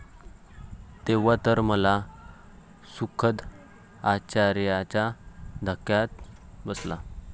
तेव्हा तर मला सुखद आश्चर्याचा धक्काच बसला.